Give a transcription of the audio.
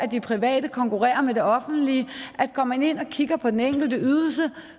de private konkurrerer med det offentlige at går man ind og kigger på den enkelte ydelse